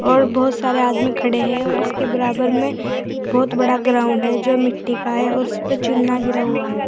और बहोत सारे आदमी खड़े हैं और इसके बराबर में बहोत बड़ा ग्राउंड है जो मिट्टी का है और उसपे चुना गिरा हुआ है।